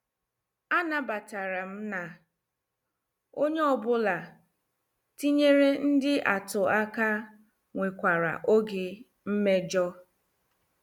A nabatara m na onye ọ bụla tinyere ndị atụ aka nwekwara oge mmejọ.